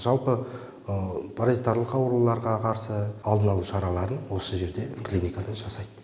жалпы паразитарлық ауруларға қарсы алдын алу шараларын осы жерде клиникада жасайды